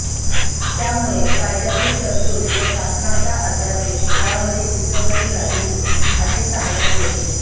त्यामुळे कायद्यातील तरतूद व शासनाचा अध्यादेश यामध्ये विसंगती राहिली असे सांगण्यात येते